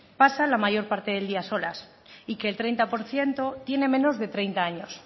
pasa la mayor parte del día solas y que el treinta por ciento tiene menos de treinta años